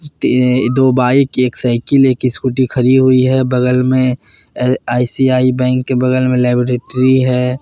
दो बाइक एक साइकिल एक स्कूटी खड़ी हुई है बगल में अह आई_सी_आई बैंक के बगल में लेबोरेटरी है।